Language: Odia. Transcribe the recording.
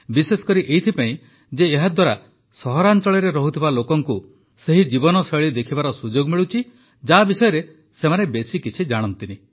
ବିଶେଷକରି ଏଥିପାଇଁ ଯେ ଏହାଦ୍ୱାରା ସହରାଞ୍ଚଳରେ ରହୁଥିବା ଲୋକଙ୍କୁ ସେହି ଜୀବନଶୈଳୀ ଦେଖିବାର ସୁଯୋଗ ମିଳୁଛି ଯାହା ବିଷୟରେ ସେମାନେ ବେଶୀ କିଛି ଜାଣନ୍ତିନି